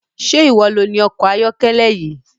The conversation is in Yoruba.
Ṣé iwọ loni ọkọ ayọ́kẹ́lẹ́ yìí?